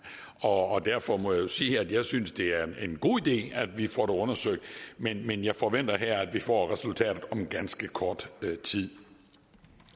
og og derfor må jeg jo sige at jeg synes det er en god idé at vi får det undersøgt men men jeg forventer at vi får resultatet om ganske kort tid